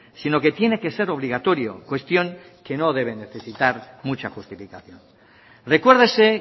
sino que tiene que ser obligatorio cuestión que no debe necesitar mucha justificación recuérdese